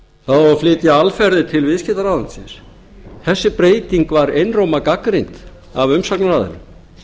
að flytja alferðir til viðskiptaráðuneytisins þessi breyting var einróma gagnrýnd af umsagnaraðilum